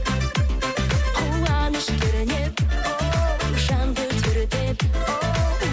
қуаныш кернеп оу жанды тербеп оу